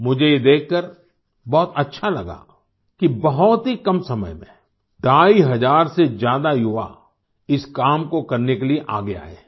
मुझे ये देखकर बहुत अच्छा लगा कि बहुत ही कम समय में ढाई हज़ार से ज्यादा युवा इस काम को करने के लिए आगे आए हैं